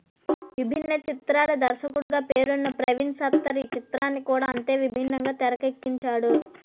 విభిన్న చిత్రాల దర్శకుడిగా పేరున్న ప్రవీణ్ సత్తారు ఈ చిత్రాన్ని కూడా అంతే విభిన్నంగా తెరకెక్కించాడు